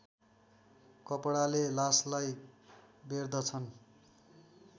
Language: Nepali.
कपडाले लासलाई बेर्दछन्